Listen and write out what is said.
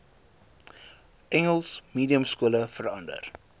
engels mediumskole verander